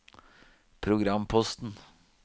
programposten